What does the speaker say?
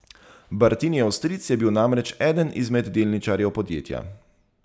Bartinijev stric je bil namreč eden izmed delničarjev podjetja.